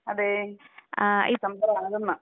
അതെ ഡിസംബറ് പതിനൊന്നാ.